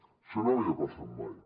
això no havia passat mai